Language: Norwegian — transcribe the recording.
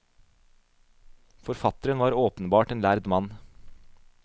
Forfatteren var åpenbart en lærd mann.